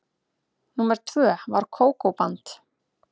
Númer tvö var Kókó-band.